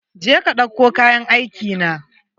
Je ka ɗauko kayan aikina!